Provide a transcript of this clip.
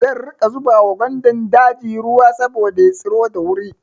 Zan riƙa zuba wa gwandan daji ruwa saboda ya tsiro da wuri.